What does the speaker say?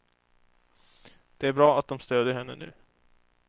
Det är bra att de stödjer henne nu.